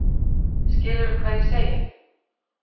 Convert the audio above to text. Skilurðu hvað ég segi?